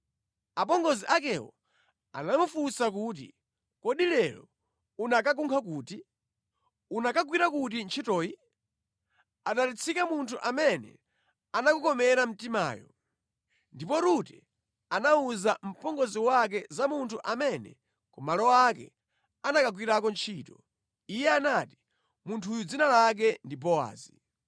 Apongozi akewo anamufunsa kuti, “Kodi lero unakakunkha kuti? Unakagwira kuti ntchitoyi? Adalitsike munthu amene anakukomera mtimayo.” Ndipo Rute anawuza mpongozi wake za munthu amene ku malo ake anakagwirako ntchito. Iye anati, “Munthuyo dzina lake ndi Bowazi.”